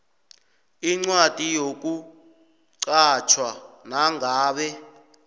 incwadi yokuqatjhwa nangabe